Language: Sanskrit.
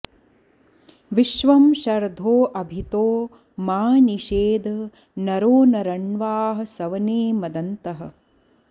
विश्वं शर्धो अभितो मा नि षेद नरो न रण्वाः सवने मदन्तः